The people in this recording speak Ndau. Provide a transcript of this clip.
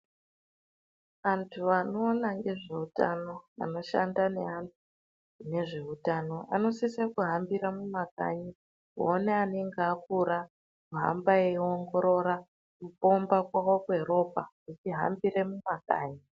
Vantu vanoona ngezveutano vanoshanda neantu nezveutano vanosise kuhambira mumakanyi kuona anenge akura ohamba eiongorora kupomba mwawo kweropa echihambire mumakanyi.